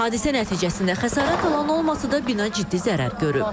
Hadisə nəticəsində xəsarət alan olmasa da, bina ciddi zərər görüb.